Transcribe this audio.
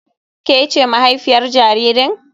Ke ce mahaifiyar jaririn?